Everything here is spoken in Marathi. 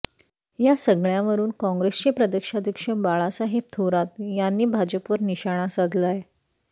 या सगळ्यावरून काँग्रेसचे प्रदेशाध्यक्ष बाळासाहेब थोरात यांनी भाजपवर निशाणा साधलाय